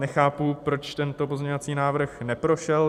Nechápu, proč tento pozměňovací návrh neprošel.